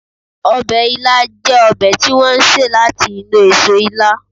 Ọbẹ̀ ila jẹ́ ọbẹ̀ tí wọ́n ṣe láti inú eso ila